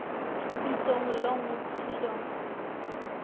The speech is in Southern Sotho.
bitswang long walk to freedom